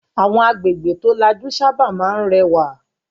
Àwọn agbègbè tó lajú sábà máa ń rẹwà.